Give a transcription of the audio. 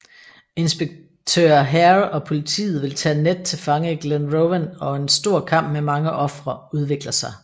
Inspektør Hare og politiet vil tage Ned til fange i Glenrowan og en stor kamp med mange ofre udvikler sig